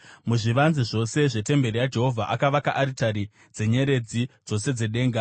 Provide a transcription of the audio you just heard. Muzvivanze zvose zvetemberi yaJehovha akavaka aritari dzenyeredzi dzose dzedenga.